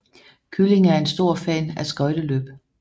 Kylling er en stor fan af skøjteløb